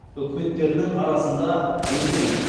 үкіметтерінің арасында өзен